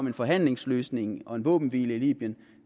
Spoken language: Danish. en forhandlingsløsning og en våbenhvile i libyen